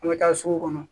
An bɛ taa sugu kɔnɔ